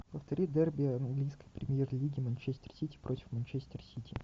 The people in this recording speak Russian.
повтори дерби английской премьер лиги манчестер сити против манчестер сити